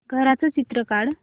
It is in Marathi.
घराचं चित्र काढ